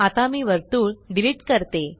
आता मी वर्तुळ डिलीट करते